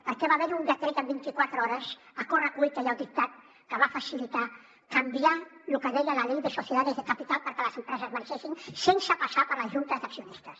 perquè va haver hi un decret en vint i quatre hores a correcuita i al dictat que va facilitar canviar el que deia la ley de sociedades de capital perquè les empreses marxessin sense passar per les juntes d’accionistes